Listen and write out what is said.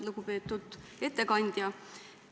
Lugupeetud ettekandja!